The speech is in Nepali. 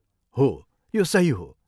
हो, यो सही हो।